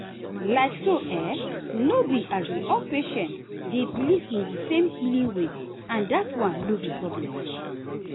like so um no be um all patients dey believe in the same healing way and that one no be problem.